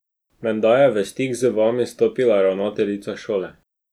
Menda je v stik z vami stopila ravnateljica šole.